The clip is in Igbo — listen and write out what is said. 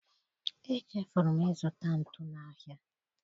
Echefuru m ịzụta ntu n'ahịa.